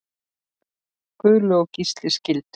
Guðlaug og Gísli skildu.